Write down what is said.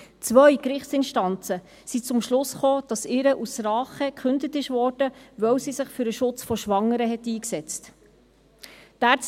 Zwei Gerichtsinstanzen kamen zum Schluss, dass ihr aus Rache gekündigt wurde, weil sie sich für den Schutz von Schwangeren eingesetzt hatte.